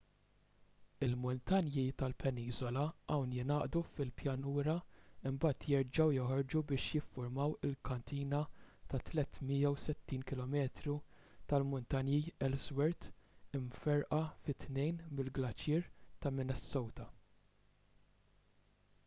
il-muntanji tal-peniżola hawn jingħaqdu fil-pjanura imbagħad jerġgħu joħorġu biex jiffurmaw il-katina ta' 360 km tal-muntanji ellsworth imferrqa fi tnejn mill-glaċier ta' minnesota